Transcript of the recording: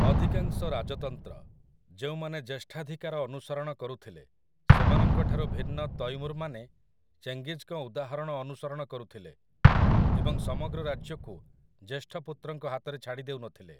ଅଧିକାଂଶ ରାଜତନ୍ତ୍ର, ଯେଉଁମାନେ ଜ୍ୟେଷ୍ଠାଧିକାର ଅନୁସରଣ କରୁଥିଲେ, ସେମାନଙ୍କଠାରୁ ଭିନ୍ନ ତୈମୁର୍‌ମାନେ ଚେଙ୍ଗିଜ୍‌ଙ୍କ ଉଦାହରଣ ଅନୁସରଣ କରୁଥିଲେ ଏବଂ ସମଗ୍ର ରାଜ୍ୟକୁ ଜ୍ୟେଷ୍ଠ ପୁତ୍ରଙ୍କ ହାତରେ ଛାଡ଼ିଦେଉନଥିଲେ ।